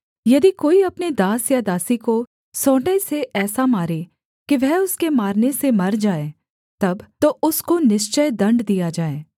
यदि कोई अपने दास या दासी को सोंटे से ऐसा मारे कि वह उसके मारने से मर जाए तब तो उसको निश्चय दण्ड दिया जाए